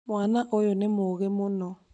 Mwana ũyũ nĩ mũũgĩ mũno